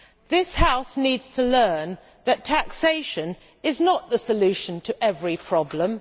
This House needs to learn that taxation is not the solution to every problem.